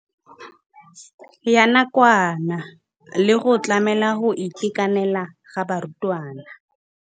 Ya nakwana le go tlamela go itekanela ga barutwana.